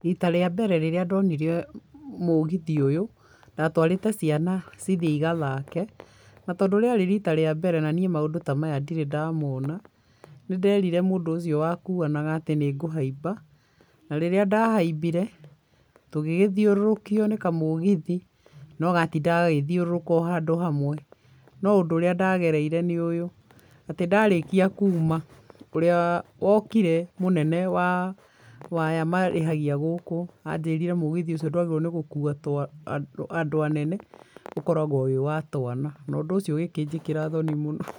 Rita rĩa mbere rĩrĩa ndonire mũgithi ũyũ, ndatwarĩte ciana cithiĩ igathake, na tondũ rĩarĩ rita rĩa mbere na niĩ maũndũ ta maya ndirĩ ndamona, nĩ nderire mũndũ ũcio wakuanaga atĩ nĩ ngũhaimba, na rĩrĩa ndahaimbire tũgĩgĩthiũrũrũkio nĩ kamũgithi, no gatindaga gagĩthiũrũrũka handũ hamwe, no ũndũ ũrĩa ndagereire nĩ ũyũ, atĩ ndarĩkia kuuma, ũrĩa wokire mũnene wa aya marĩhagia gũkũ, anjĩrire mũgithi ũcio ndwagĩrĩirwo nĩ andũ anene, ũkoragwo wĩ wa twana na ũndũ ũcio ũgĩkĩnjĩkĩra thoni mũno.